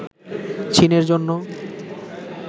চীনের জন্য